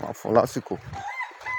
máa fún láṣìkò.